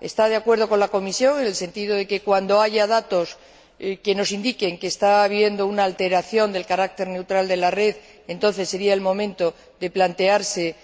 Está de acuerdo con la Comisión, en el sentido de que, cuando haya datos que nos indiquen que está habiendo una alteración del carácter neutral de la red, entonces sería el momento de plantearse